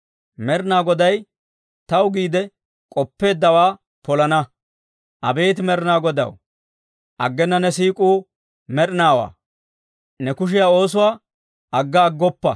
Med'inaa Goday taw giide k'oppeeddawaa polana; abeet Med'inaa Godaw, aggena ne siik'uu med'inaawaa. Ne kushiyaa oosuwaa agga aggoppa.